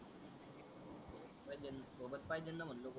हो नेल सोबत पाहिजे णा म्हणलो